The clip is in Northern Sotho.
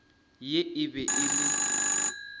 ye e be e le